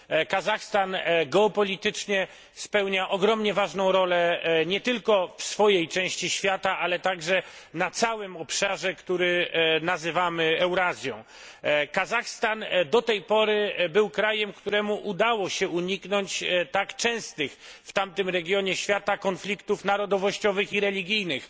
Kazachstan geopolitycznie spełnia ogromnie ważną rolę nie tylko w swojej części świata, ale także na całym obszarze, który nazywamy Eurazją. Kazachstan do tej pory był krajem, któremu udało się uniknąć tak częstych w tamtym regionie świata konfliktów narodowościowych i religijnych.